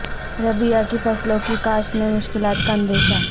ربیع کی فصلوں کی کاشت میں مشکلات کا اندیشہ